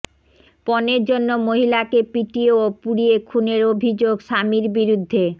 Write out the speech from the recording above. পণের জন্য মহিলাকে পিটিয়ে ও পুড়িয়ে খুনের অভিযোগ স্বামীর বিরুদ্ধে